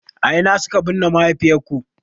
A ina suka binne mahaifiyarku.